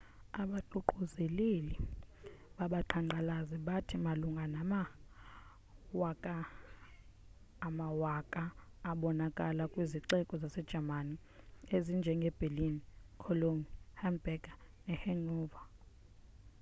abaququzeleli babaqhankqalazi bathi malunga nama 100,000 abonakala kwizixeko zase german ezinjenge berlin cologne hamburg nehanover